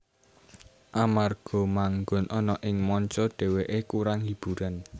Amarga manggon ana ing manca dhewekè kurang hiburan